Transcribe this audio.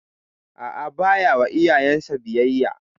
A'a, ba ya wa iyayen sa biyayya.